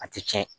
A tɛ tiɲɛ